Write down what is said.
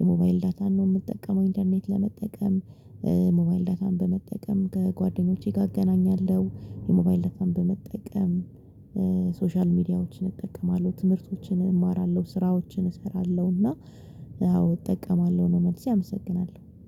የሞባይል ዳታን ነው የምጠቀመው ኢንተርኔት ለመጠቀም። ሞባይል ዳታን በመጠቀም ከጓደኞቼ ጋር አገናኛለሁ የሞባይን ዳታን በመጠቀም። ሶሻል ሚዲያዎችን እጠቀማለሁ ትምህርቶችን እማራለሁ ስራዎችን እሰራለሁ እና አዎ እጠቀማለሁ ነው። መልሴ አመሰግናል